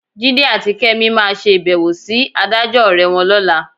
Jídé àti Kẹ́mi máa ṣe ìbẹ̀wò sí adájọ́ ọ̀rẹ́ wọn lọ́la.